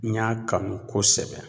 N y'a kanu kosɛbɛ